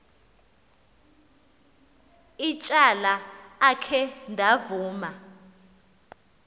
ityala akhe ndavuma